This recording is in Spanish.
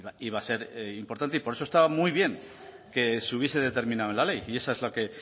iba a ser importante y por eso estaba muy bien que se hubiese determinado en la ley y éso es la que